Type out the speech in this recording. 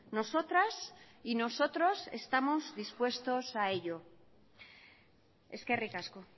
nosotras y nosotros estamos dispuestos a ello eskerrik asko